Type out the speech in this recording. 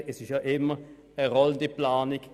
Man macht ja immer eine rollende Planung.